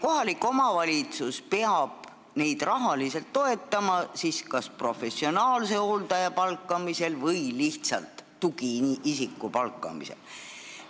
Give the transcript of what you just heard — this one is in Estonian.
Kohalik omavalitsus peab neid siis rahaliselt toetama kas professionaalse hooldaja või lihtsalt tugiisiku palkamisel.